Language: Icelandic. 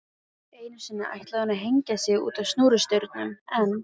Einu sinni ætlaði hún að hengja sig útá snúrustaurnum en